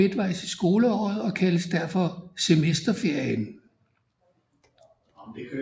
Ferien ligger midtvejs i skoleåret og kaldes derfor Semesterferien